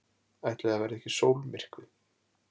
Ætli það verði ekki sólmyrkvi!